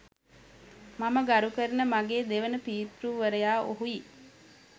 මම ගරු කරන මගේ දෙවන පිතෘවරයා ඔහුයි